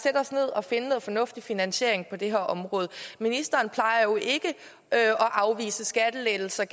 os ned og finde en fornuftig finansiering på det her område ministeren plejer jo ikke at afvise skattelettelser